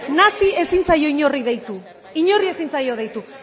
ezin zaio inori deitu inori ezin zaio deitu